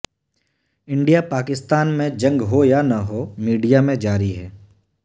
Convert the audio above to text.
India Pakistan میں جنگ ہو یا نہ ہو میڈیا میں جاری ہے